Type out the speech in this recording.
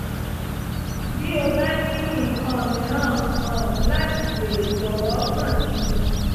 bí o bá ní nǹkan mìíràn um láti béèrè jọ̀wọ́ kàn sí mi